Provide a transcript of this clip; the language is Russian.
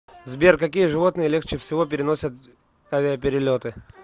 сбер какие животные легче всего переносят авиаперелеты